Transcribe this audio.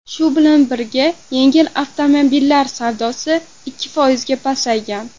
Shu bilan birga, yengil avtomobillar savdosi ikki foizga pasaygan.